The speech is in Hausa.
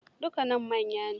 Dakunan manya ne.